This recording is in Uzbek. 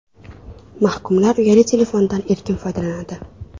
Mahkumlar uyali telefondan erkin foydalanadi.